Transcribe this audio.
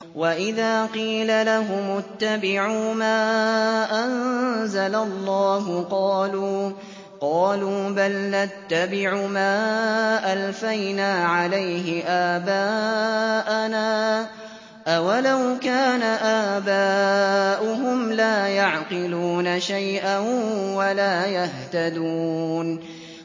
وَإِذَا قِيلَ لَهُمُ اتَّبِعُوا مَا أَنزَلَ اللَّهُ قَالُوا بَلْ نَتَّبِعُ مَا أَلْفَيْنَا عَلَيْهِ آبَاءَنَا ۗ أَوَلَوْ كَانَ آبَاؤُهُمْ لَا يَعْقِلُونَ شَيْئًا وَلَا يَهْتَدُونَ